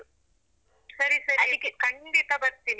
ಸರಿ ಸರಿ ಅದಿಕ್ಕೆ ಖಂಡಿತ ಬರ್ತೀನಿ.